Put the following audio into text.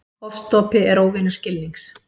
Ofstopi er óvinur skilnings.